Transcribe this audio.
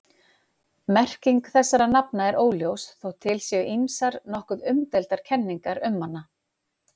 Merking þessara nafna er óljós þótt til séu ýmsar nokkuð umdeildar kenningar um hana.